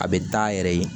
A bɛ da a yɛrɛ ye